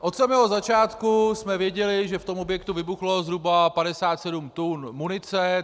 Od samého začátku jsme věděli, že v tom objektu vybuchlo zhruba 57 tun munice.